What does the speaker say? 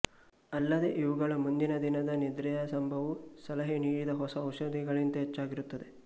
ಅಲ್ಲದೇ ಇವುಗಳ ಮುಂದಿನದಿನದ ನಿದ್ರೆಯ ಸಂಭವವು ಸಲಹೆ ನೀಡಿದ ಹೊಸ ಔಷಧಗಳಿಗಿಂತ ಹೆಚ್ಚಾಗಿರುತ್ತದೆ